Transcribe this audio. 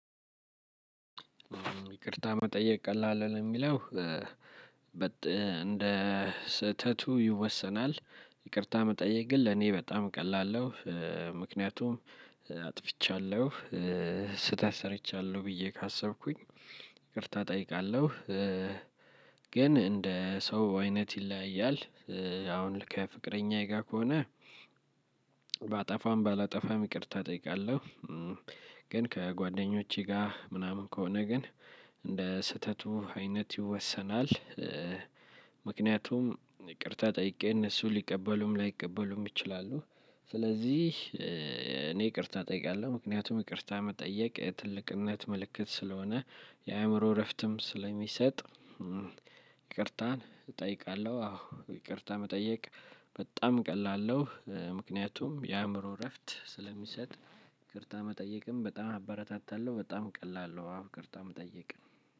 ይቅርታ መጠየቅ ቀላል ነው ለሚለው። እንደ ስህተቱ ይወሰናል ይቅርታ መጠየቅ ግን ለኔ በጣም ቀላል ነው። ምክንያቱም አጥፍቻለሁ ስህተት ሰርቻለሁ ብዬ ካሰብኩኝ ይቅርታ እጠይቃለሁ። ግን እንደ ሰው አይነት ይለያያል። አሁን ከፍቅረኛዬ ጋር ከሆነ ባጠፋም ባላጠፋም ይቅርታ እጠይቃለሁ። ግን ከጓደኞቼ ጋር ምናምን ከሆነ ግን እንደ ስህተቱ አይነት ይወሰናል። ምክንያቱም ይቅርታ ጠይቄ እነሱ ሊቀበሉም ላይቀበሉም ይችላሉ። ስለዚህ እኔ ይቅርታ እጠይቃለሁ ምክንያቱም ይቅርታ መጠየቅ የ ትልቅነት ምልክት ስለሆነ። የአእምሮ እረፍትም ስለሚሰጥ ይቅርታን እጠይቃለሁ። አዎ ይቅርታ መጠየቅ በጣም ቀላል ነው ምክንያቱም የአእምሮ እረፍት ስለሚሰጥ። ይቅርታ መጠየቅም በጣም አበረታታለሁ በጣም ቀላል ነው። አዎ ይቅርታ መጠየቅ